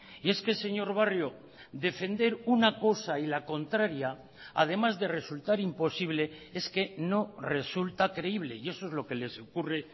y es que señor barrio defender una cosa y la contraria además de resultar imposible es que no resulta creíble y eso es lo que les ocurre